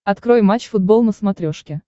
открой матч футбол на смотрешке